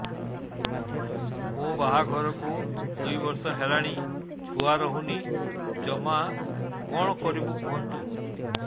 ମୋ ବାହାଘରକୁ ଦୁଇ ବର୍ଷ ହେଲାଣି ଛୁଆ ରହୁନି ଜମା କଣ କରିବୁ କୁହନ୍ତୁ